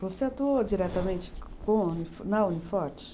Você atuou diretamente com a, na Uniforte?